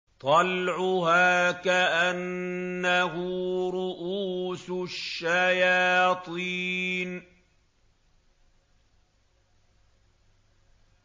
طَلْعُهَا كَأَنَّهُ رُءُوسُ الشَّيَاطِينِ